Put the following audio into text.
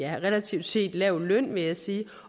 relativt set lav løn vil jeg sige